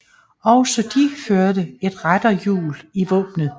Også de førte et retterhjul i våbnet